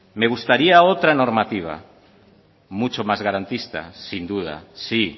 me gustaría otra normativa mucho más garantista sin duda sí